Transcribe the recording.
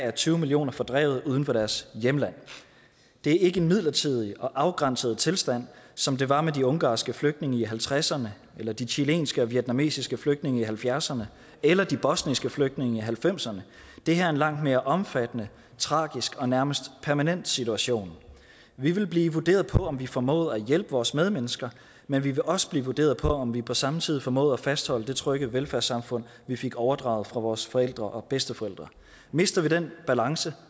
er tyve millioner fordrevet fra deres hjemland det er ikke en midlertidig og afgrænset tilstand som det var med de ungarske flygtninge i nitten halvtredserne eller de chilenske og vietnamesiske flygtninge i nitten halvfjerdserne eller de bosniske flygtninge i nitten halvfemserne det her er en langt mere omfattende tragisk og nærmest permanent situation vi vil blive vurderet på om vi formåede at hjælpe vores medmennesker men vi vil også blive vurderet på om vi på samme tid formåede at fastholde det trygge velfærdssamfund vi fik overdraget fra vores forældre og bedsteforældre mister vi den balance